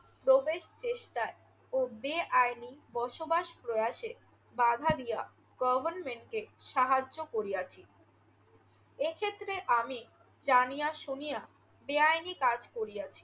প্রবেশ চেষ্টায় ও বেআইনি বসবাস প্রয়াসে বাঁধা দিয়া গভর্নমেন্টকে সাহায্য করিয়াছি। এক্ষেত্রে আমি জানিয়া শুনিয়া বেআইনি কাজ করিয়াছি।